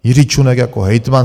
Jiří Čunek jako hejtman